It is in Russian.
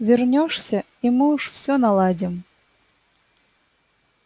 вернёшься и мы уж всё наладим